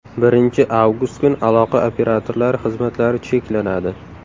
Birinchi avgust kuni aloqa operatorlari xizmatlari cheklanadi.